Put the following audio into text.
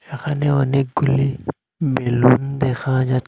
এখানে অনেকগুলি বেলুন দেখা যা--